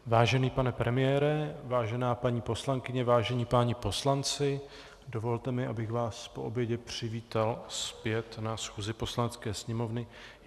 Vážený pane premiére, vážené paní poslankyně, vážení páni poslanci, dovolte mi, abych vás po obědě přivítal zpět na schůzi Poslanecké sněmovny.